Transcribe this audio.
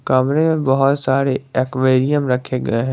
कमरे में बहोत सारे एक्वेरियम रखे गए हैं।